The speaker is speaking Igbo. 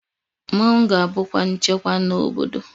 Mmọnwụ ga-abukwa nchekwa n'obodo